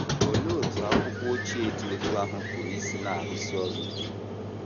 Olee otú akwụkwọ ochie dị otú ahụ pụrụ isi na - arụsi ọrụ ike?